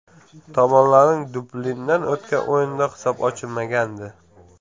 Tomonlarning Dublinda o‘tgan o‘yinida hisob ochilmagandi.